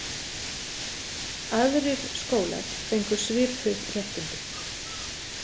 Aðrir skólar fengu svipuð réttindi.